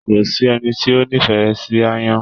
Kò sí ẹni tí o n'ifẹ sí aáyán.